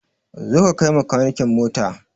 Zo ka kai ma makanikin mota!